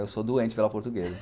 Eu sou doente pela portuguesa.